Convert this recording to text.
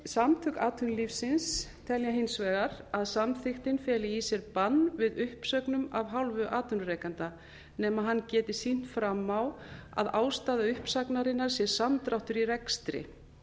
samtök atvinnulífsins telja hins vegar að samþykktin feli í sér bann við uppsögnum af hálfu atvinnurekanda nema hann geti sýnt fram á að ástæða uppsagnarinnar sé samdráttur í rekstri